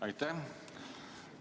Aitäh!